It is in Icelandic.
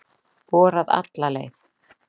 Borað alla leið